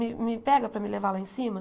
Me me pega para me levar lá em cima?